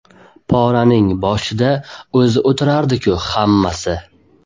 Poraning boshida o‘zi o‘tirardi-ku hammasi.